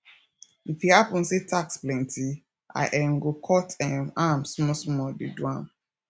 if e happen say task plenti i um go cut um am small small dey do am